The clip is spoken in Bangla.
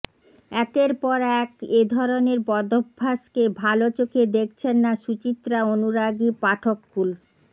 একের পর এক এ ধরনের বদভ্যাসকে ভাল চোখে দেখছেন না সুচিত্রা অনুরাগী পাঠককুল